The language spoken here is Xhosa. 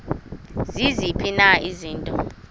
ziziphi na izinto